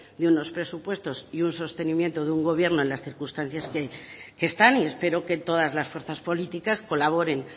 de unos presupuestos y un sostenimiento de un gobierno en las circunstancias que están y espero que todas las fuerzas políticas colaboren